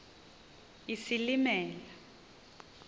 isilimela